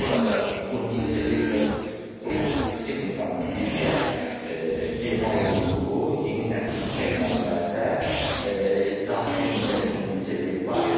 Burada süni intellekt və robot texnikanın birgə emal olunduğu yeni nəsil təyyarələrdə daxilində süni intellekt var,